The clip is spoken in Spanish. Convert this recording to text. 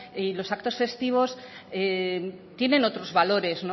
y los actos festivos tienen otros valores